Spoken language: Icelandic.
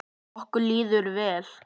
Okkur líður vel.